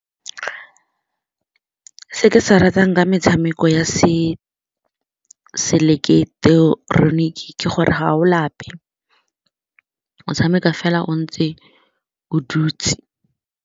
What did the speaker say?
Se ke se ratang nka metshameko ya seileketeroniki ke gore ga o lape, o motshameko fela o ntse o dutse.